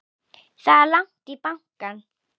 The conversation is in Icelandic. Það er langt í bankann!